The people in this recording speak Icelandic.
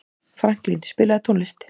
Franklín, spilaðu tónlist.